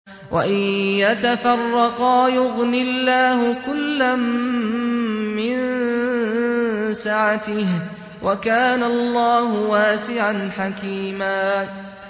وَإِن يَتَفَرَّقَا يُغْنِ اللَّهُ كُلًّا مِّن سَعَتِهِ ۚ وَكَانَ اللَّهُ وَاسِعًا حَكِيمًا